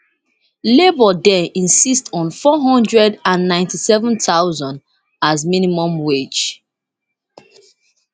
labour dey insist on on nfour hundred and ninety-seven thousand as minimum wage